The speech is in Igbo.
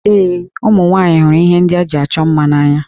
Ee, ụmụ nwaanyị hụrụ ihe ndị eji achọ mma n'anya